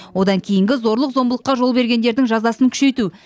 одан кейінгі зорлық зомбылыққа жол бергендердің жазасын күшейту